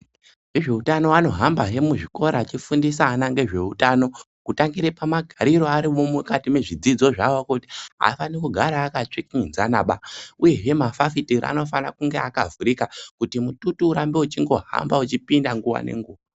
Vezveutano vanohamba zve muzvikora achifundisa ana nezveutano kutangire pamagariro ari mukati mwezvidzidzo zVawo kuti aafani kugara akatsvikinyidzanaba uyezve mafafitera anofana kunge akavhurika kuti mututu urambe uchingohamba uchipinda nguwa nenguwa.